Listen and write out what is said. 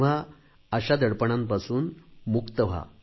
तेव्हा अशा दडपणांतून मुक्त व्हा